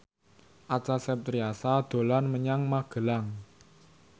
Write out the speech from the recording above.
Acha Septriasa dolan menyang Magelang